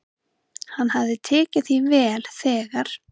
"""Hann hafði tekið því vel, þegar"""